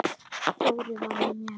Dóri var með mér.